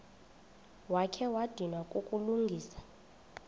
wakha wadinwa kukulungisa